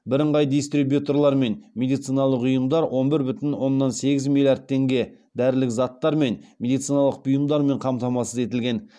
бірыңғай дистрибьюторлармен медициналық ұйымдар он бір бүтін оннан сегіз миллиард теңге дәрілік заттармен және медициналық бұйымдармен қамтамасыз етілген